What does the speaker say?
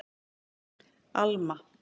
Alma